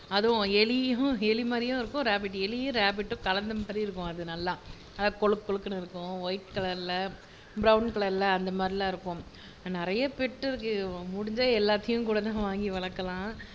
அதும் எலி எலி மாதிரியும் இருக்கும் ரேபிட் எலியும் ரேபிட்டும் கலந்த மாதிரி இருக்கும் அது நல்லா கொழுக்கொழுக்னு இருக்கும் ஒயிட் கலர்ல பிரவுன் கலர்ல அந்த மாதிரி எல்லாம் இருக்கும் நிறைய பெட் இருக்கு முடிஞ்சா எல்லாத்தையும்கூட வாங்கி வளர்க்கலாம்